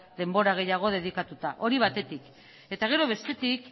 denbora gehiago dedikatuta hori batetik eta gero bestetik